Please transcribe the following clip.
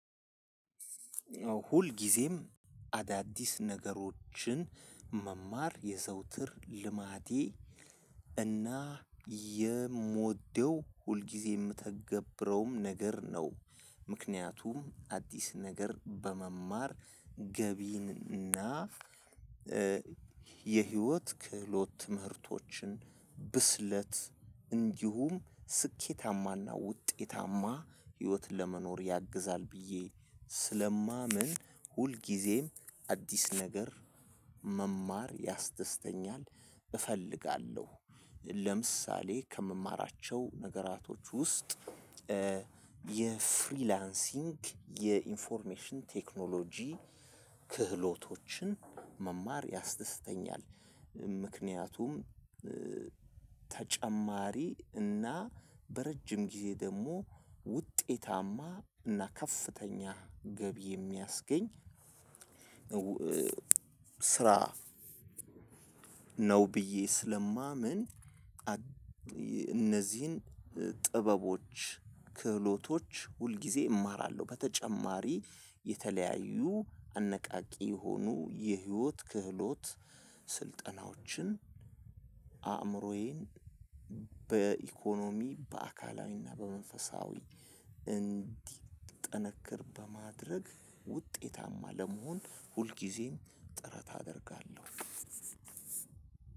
ሁልጊዜም አዳዲስ ነገሮችን መማር የዘወትር ልማዴ እና የምወደው ሁልጊዜ የምተገብረውም ነገር ነው። ምክንያቱም አዲስ ነገር በመማር ገቢን እና የህይወት ክህሎት ትምህርቶችን ብስለት እንዲሁም ስኬታማና ውጤታማ ህይወትን ለመኖር ያግዛል። ብዬ ስለማምን ሁልጊዜም አዲስ ነገር መማር ያስደስተኛል እፈልጋለሁ። ለምሳሌ ከምማራቸው ነገራቶች ውስጥ የፍሪላንሲንግ የኢንፎርሜሽን ቴክኖሎጂ ክህሎቶችን መማር ያስደስተኛል። ምክንያቱም ተጨማሪ እና በረጅም ጊዜ ደግሞ ውጤታማ እና ከፍተኛ ገቢ የሚያስገኝ ስራ ነው። ብዬ ስለማምን እነዚህን ጥበቦች ክህሎቶች ሁልጊዜ እማራለሁ። በተጨማሪ የተለያዩ አነቃቂ የሆኑ የህይወት ክህሎት ስልጠናዎችን አእምሮዬን በኢኮኖሚ በአካላዊና በመንፈሳዊ እንዲጠነክር በማድረግ ውጤታማ ለመሆን ሁልጊዜም ጥረት አደርጋለሁ።